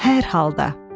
Hər halda.